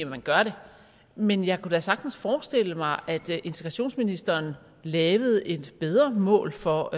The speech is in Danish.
man gør det men jeg kunne da sagtens forestille mig at integrationsministeren lavede et bedre mål for